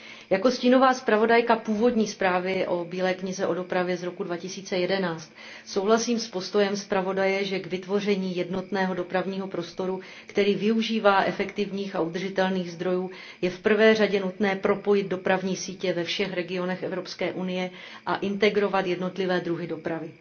Jako stínová zpravodajka původní zprávy o bíle knize o dopravě z roku 2011souhlasím s postojem zpravodaje, že k vytvoření jednotného dopravního prostoru, který využívá efektivních a udržitelných zdrojů, je v prvé řadě nutné propojit dopravní sítě ve všech regionech Evropské unie a integrovat jednotlivé druhy dopravy.